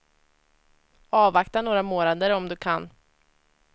Avvakta några månader om du kan.